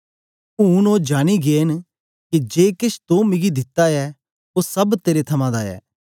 ऊन ओ जानी गै न के जे केछ तो मिगी दिता ऐ ओ सब तेरे थमां दा ऐ